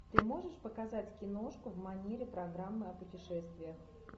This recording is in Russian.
ты можешь показать киношку в манере программы о путешествиях